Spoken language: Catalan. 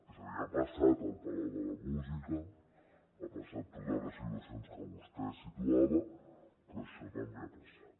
és a dir ha passat al palau de la música han passat totes les situacions que vostè situava però això també ha passat